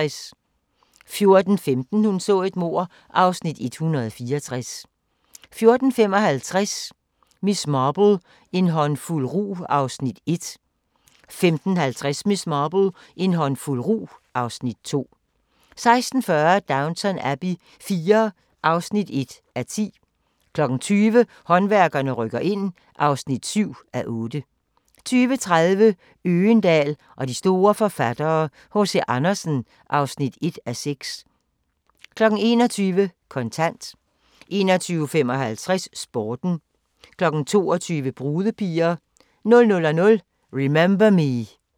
14:15: Hun så et mord (Afs. 164) 14:55: Miss Marple: En håndfuld rug (Afs. 1) 15:50: Miss Marple: En håndfuld rug (Afs. 2) 16:40: Downton Abbey IV (1:10) 20:00: Håndværkerne rykker ind (7:8) 20:30: Øgendahl og de store forfattere: H.C. Andersen (1:6) 21:00: Kontant 21:55: Sporten 22:00: Brudepiger 00:00: Remember Me